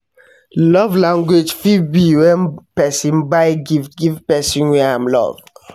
Love language fit be when persin buy gift give persin wey I'm love